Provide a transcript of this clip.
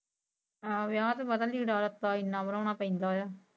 ਹਾਂ ਵਿਆਹ ਤੇ ਪਤਾ ਨੀ ਲੀੜਾ ਲੱਤਾ ਇੰਨਾ ਬਨਾਣਾ ਪੈਂਦਾ ਆ।